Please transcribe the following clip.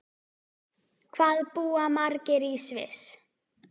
Hvað búa margir í Sviss?